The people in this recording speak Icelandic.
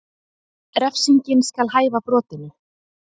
Refsingin skal hæfa brotinu